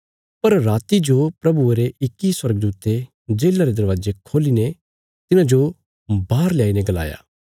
पर राति जो प्रभुये रे इक्की स्वर्गदूते जेल्ला रे दरवाजे खोली ने तिन्हांजो बाहर लयाई ने गलाया